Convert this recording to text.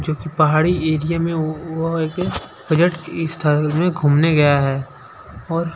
पहाड़ी एरिया में वो ओ ऐसे पर्यटक स्थल में घूमने गया है और--